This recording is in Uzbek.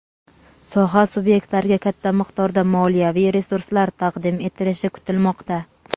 soha sub’ektlariga katta miqdorda moliyaviy resurslar taqdim etilishi kutilmoqda.